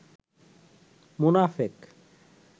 মোনাফেক